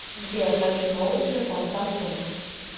сбер хочу новый телефон самсунг